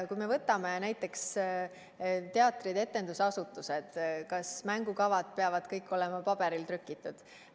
Kui me võtame näiteks teatrid-etendusasutused, siis tuleb mõelda, kas mängukavad peavad ikka olema paberile trükitud.